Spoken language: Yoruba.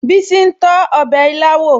Bísí ń tọ́ ọbẹ̀ ilá wò